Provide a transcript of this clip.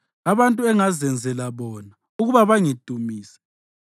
abantu engazenzela bona ukuba bangidumise.